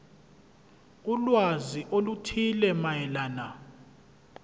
ulwazi oluthile mayelana